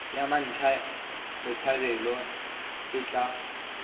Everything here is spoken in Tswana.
ya mmatla botshabelo e tla